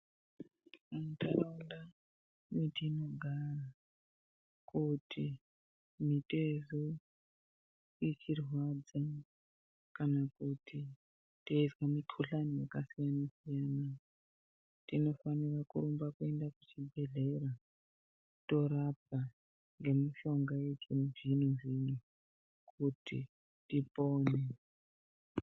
Muntaraunda mwetinogara kuti mitezo ichirwadza kana kuti teizwa mikuhlani yakasiyana siyana, tinofanira kurumba kuenda kuchibhedhleya torapwa nemishonga yechizvino zvino kuti tipone.